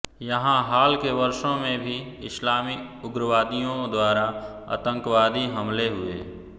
यहां हाल के वर्षों में भी इस्लामी उग्रवादियों द्वारा आतंकवादी हमले हुए